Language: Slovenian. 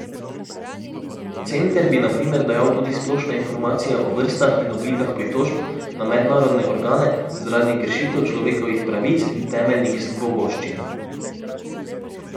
Center bi na primer dajal tudi splošne informacije o vrstah in oblikah pritožb na mednarodne organe zaradi kršitev človekovih pravic in temeljnih svoboščin.